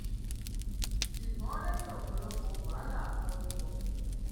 ṣùgbọn lẹyìn ọpọlọpọ wàhálà wọn rí wọn mú